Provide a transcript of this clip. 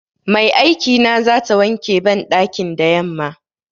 Mai aikina zata wanke banɗakin da yamma.